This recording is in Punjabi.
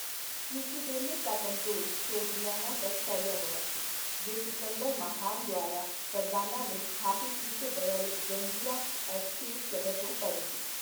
ਯੂਥੀਡੇਮਸ ਦਾ ਕੰਟਰੋਲ ਸੋਗਡੀਆਨਾ ਤੱਕ ਫੈਲਿਆ ਹੋਇਆ ਸੀ, ਜੋ ਸਿਕੰਦਰ ਮਹਾਨ ਦੁਆਰਾ ਫਰਗਾਨਾ ਵਿੱਚ ਸਥਾਪਿਤ ਕੀਤੇ ਗਏ ਅਲੈਗਜ਼ੈਂਡਰੀਆ ਐੱਸਚੇਟ ਸ਼ਹਿਰ ਤੋਂ ਪਰੇ ਸੀ।